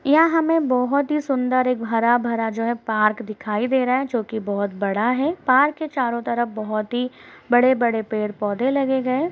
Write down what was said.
यहाँ हमे बहुत ही सुंदर एक हरा-भरा जो है पार्क दिखाई दे रहा है जो कि बहुत बड़ा है। पार्क के चारों तरफ बहुत ही बड़े-बड़े पेड़ पौधे लगे गए --